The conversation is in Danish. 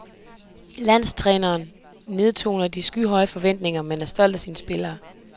Landstræneren nedtoner de skyhøje forventninger, men er stolt af sine spillere.